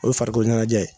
O ye farikolo ɲɛnajɛ ye